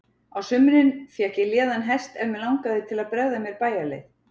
Á sumrin fékk ég léðan hest ef mig langaði til að bregða mér bæjarleið.